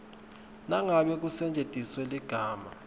nangabe kusetjentiswe ligama